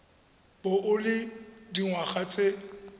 bo o le dingwaga tse